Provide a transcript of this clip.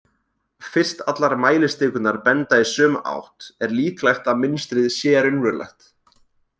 Fyrst allar mælistikurnar benda í sömu átt er líklegt að mynstrið sé raunverulegt.